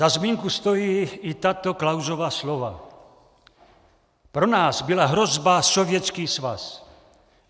Za zmínku stojí i tato Klausova slova: "Pro nás byla hrozba Sovětský svaz.